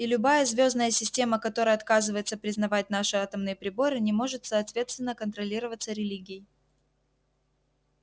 и любая звёздная система которая отказывается признавать наши атомные приборы не может соответственно контролироваться религией